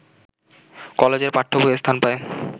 কলেজের পাঠ্যবইয়ে স্থান পায়